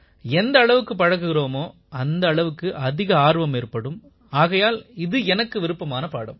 எந்த அளவுக்கு பழகுகிறோமோ அந்த அளவுக்கு அதிக ஆர்வம் ஏற்படும் ஆகையால் இது எனக்கு விருப்பமான பாடம்